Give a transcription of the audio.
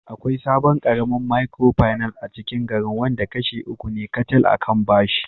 Akwai sabon karamin Micropinace acikin garin wanda kashi uku ne kacal a kan bashi